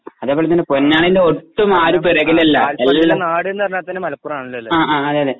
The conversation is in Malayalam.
അതേപോലെതന്നെ പൊന്നാനിയില് ഒട്ടും ആരും പിറകിലല്ല എല്ലാം ആ ആ അതെയതെ